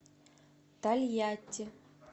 тольятти